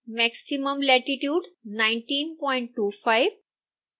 maximum latitude 1925